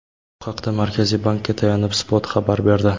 Bu haqda Markaziy bankka tayanib Spot xabar berdi .